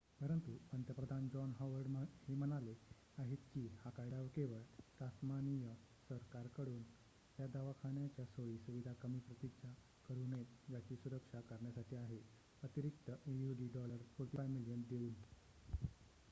परंतु पंतप्रधान John Howard हे म्हणाले आहेत की हा कायदा केवळ टास्मानिय सरकारकडून या दवाखान्याच्या सोयी सुविधा कमी प्रतीच्या करू नयेत याची सुरक्षा करण्यासाठी आहे अतिरिक्त aud$45 मिलियन देऊन